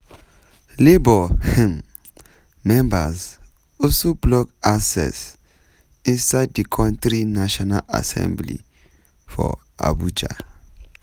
labour um members also block access inside di kontri national assembly for abuja.